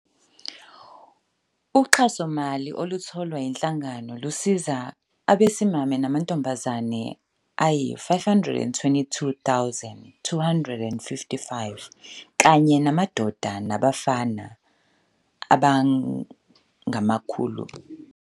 Uxhasomali olutholwa yinhlangano lusiza abesimame namantombazane ayizi-522 255 kanye namadoda nabafana abangama-900 ababuya emindenini ethinteke kakhulu yi-GBV kanye nodlame lwasekhaya, abantu abahlukumezekile abaphila nokukhubazeka, kanye namalunga omphakathi we-LGBTQIAplus, kusho uMabaso.